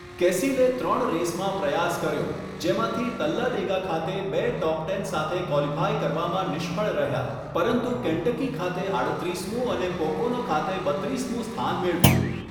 કેસિલે ત્રણ રેસમાં પ્રયાસ કર્યો, જેમાંથી તલ્લાડેગા ખાતે બે ટોપ ટેન સાથે ક્વોલિફાય કરવામાં નિષ્ફળ રહ્યા પરંતુ કેન્ટકી ખાતે આડત્રીસમું અને પોકોનો ખાતે બત્રીસમું સ્થાન મેળવ્યું.